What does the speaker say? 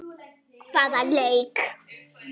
Hvaða leik?